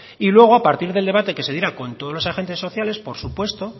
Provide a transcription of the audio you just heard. y luego a partir del debate que se diera con todos los agentes sociales por supuesto